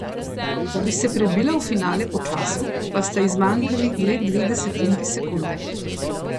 Da bi se prebila v finale po času, pa sta ji zmanjkali le dve desetinki sekunde.